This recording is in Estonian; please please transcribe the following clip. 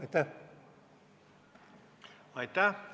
Aitäh!